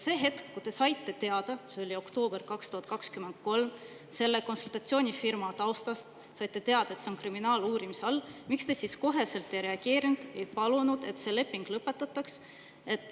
Sel hetkel, kui te saite teada – see oli oktoober 2023 – selle konsultatsioonifirma taustast, et see on kriminaaluurimise all, miks te siis koheselt ei reageerinud ega palunud, et see leping lõpetataks?